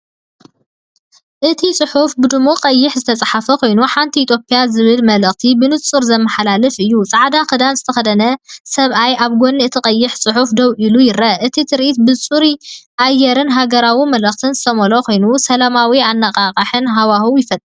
እቲ ጽሑፍ ብድሙቕ ቀይሕ ዝተጻሕፈ ኮይኑ"ሓንቲ ኢትዮጵያ"ዝብል መልእኽቲ ብንጹር ዘመሓላልፍ እዩ። ጻዕዳ ክዳን ዝተኸድነ ሰብኣይ ኣብ ጎኒ እቲ ቀይሕ ጽሑፍ ደው ኢሉ ይርአ። እቲ ትርኢት ብጽሩይ ኣየርን ሃገራዊ መልእኽትን ዝተመልአ ኮይኑ፡ ሰላማውን ኣነቓቓሕን ሃዋህው ይፈጥር።